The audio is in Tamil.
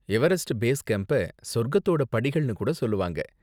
எவரெஸ்ட் பேஸ் கேம்ப்ப சொர்க்கத்தோட படிகள்னு கூட சொல்லுவாங்க.